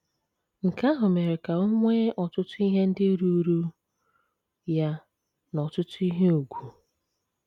Nke ahụ mere ka o nwee ọtụtụ ihe ndị ruuru ya na ọtụtụ ihe ùgwù.